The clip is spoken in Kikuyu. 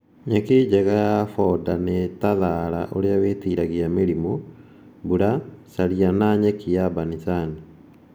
Nyeki njega ya boda nĩta thara ũrĩa wĩtiragia mĩrĩmũ ,mburacaria na nyeki ya banicani.